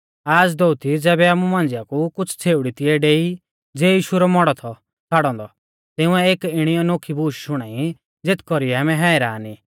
आज़ दोअती ज़ैबै आमु मांझ़िया कु कुछ़ छ़ेउड़ी तिऐ डेई ज़िऐ यीशु रौ मौड़ौ थौ छ़ाड़ौ औन्दौ तिंउऐ एक इणी नोखी बूश शुणाई ज़ेथ कौरीऐ आमै हैरान ई